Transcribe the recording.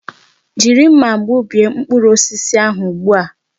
Jiri nmà gbubie mkpụrụ osisi ahụ ugbu a!